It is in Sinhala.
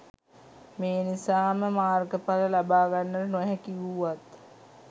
මේ නිසා ම මාර්ගඵල ලබා ගන්නට නොහැකි වූවන්